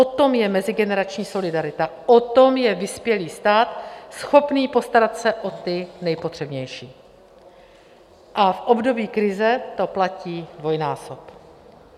O tom je mezigenerační solidarita, o tom je vyspělý stát schopný postarat se o ty nejpotřebnější, a v období krize to platí dvojnásob.